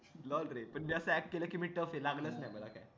मग रे म्हणजे असं react केलं कि लागलीच नाय